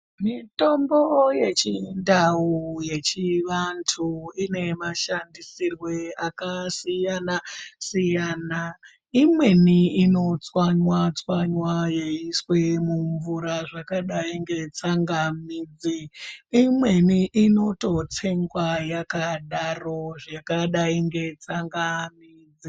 Mitombo yechindau yechivantu ine mashandisirwe akasiyana-siyana. Imweni inotswanywa-tswanywa yeiiswe mumvura zvakadai netsangamidzi. Imweni inototsengwa yakadaro zvakadai ngetsangamidzi.